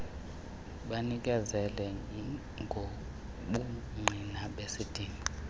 banikezele ngobungqina besidingo